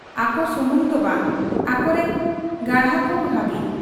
ᱟᱠᱚ ᱥᱩᱢᱩᱝ ᱫᱚ ᱵᱟᱝ ᱟᱠᱚᱨᱤᱱ ᱜᱟᱬᱟᱠᱚ ᱦᱟᱹᱵᱤᱡ ᱾